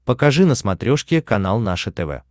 покажи на смотрешке канал наше тв